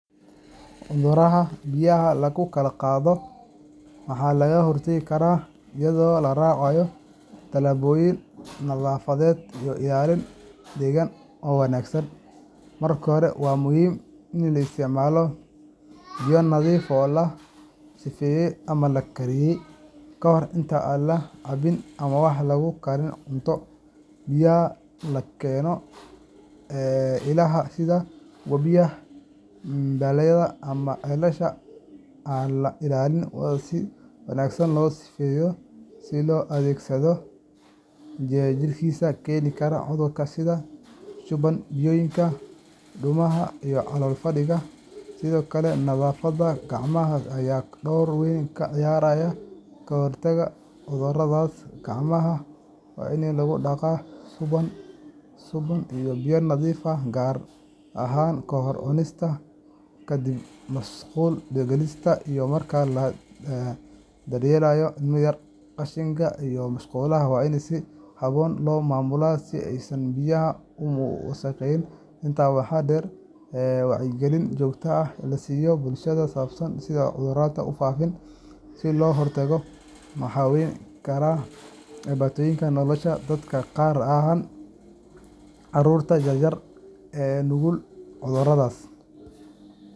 Cudurrada biyaha lagu kala qaado waxaa laga hortagi karaa iyadoo la raaco tallaabooyin nadaafadeed iyo ilaalin deegaan oo wanaagsan. Marka hore, waa muhiim in la isticmaalo biyo nadiif ah oo la sifeeyey ama la kariyey ka hor inta aan la cabbin ama aan lagu karin cunto. Biyaha laga keeno ilaha sida webiyada, balliyada ama ceelasha aan la ilaaliyin waa in si wanaagsan loo sifeeyaa si looga takhaluso jeermiska keeni kara cudurrada sida shuban-biyoodka, duumada, iyo calool-fadhiga. Sidoo kale, nadaafadda gacmaha ayaa door weyn ka ciyaarta ka hortagga cudurradaas. Gacmaha waa in lagu dhaqaa sabuun iyo biyo nadiif ah, gaar ahaan ka hor cunista, ka dib musqul galista, iyo marka la daryeelayo ilmo yar. Qashinka iyo musqulaha waa in si habboon loo maamulaa si aysan biyaha u wasakhayn. Intaa waxaa dheer, wacyigelin joogto ah oo la siiyo bulshada ku saabsan sida cudurradaasi ku faafaan iyo sida looga hortago ayaa wax weyn ka tari kara badbaadinta nolosha dadka, gaar ahaan carruurta yaryar ee u nugul cudurradaas.